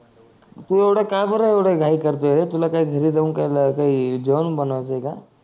तू एवढ काबर एवढ घाई करतोय रे तुला काही घरी जाऊन काही जेवण बनवायच आहे का